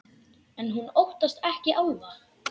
En hún óttast ekki álfa.